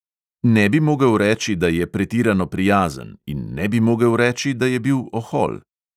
Ne bi mogel reči, da je pretirano prijazen, in ne bi mogel reči, da je bil ohol.